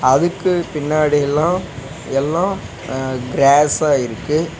அதுக்கு பின்னாடி எல்லா எல்லா அ க்ரேஸ்ஸா இருக்கு.